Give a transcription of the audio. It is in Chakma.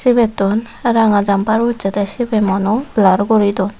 sebaytun ranga jamper ussey de sibey mugano belar guri duon.